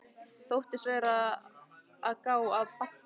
Þóttist vera að gá að Badda.